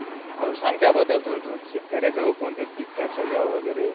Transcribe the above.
हो, सांग त्याबद्दल थोडं, शेतकरी कोणतं पीक कसं घ्यावं वगैरे.